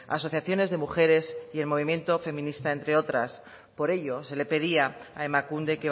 asociaciones de mujeres y el movimiento feministas entre otras por ello se le pedía a emakunde